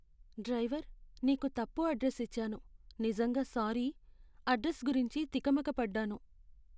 Driver! నీకు తప్పు address ఇచ్చాను, నిజంగా సారీ. అడ్రస్ గురించి తికమక పడ్డాను.